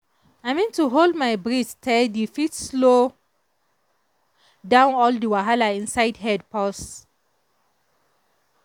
i mean to hold my breath steady fit slow down all the wahala inside head pause.